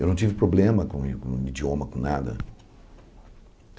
Eu não tive problema com o i com o idioma, com nada.